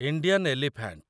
Indian elephant